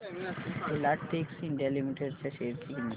Filatex India limited च्या share ची किंमत